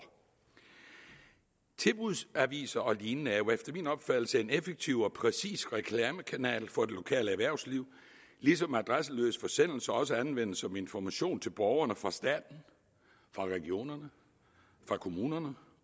tilbudsaviser og lignende er jo efter min opfattelse en effektiv og præcis reklamekanal for det lokale erhvervsliv ligesom adresseløse forsendelser også anvendes som information til borgerne fra staten fra regionerne fra kommunerne